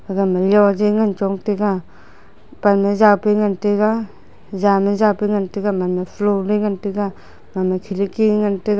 aga ma lojing chota ga pan aa ja pet ngan taiga jan aa jan pet ngan taiga.